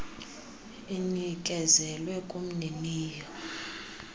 inikezelwe kumnini yo